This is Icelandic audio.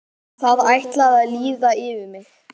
Það ætlaði að líða yfir mig.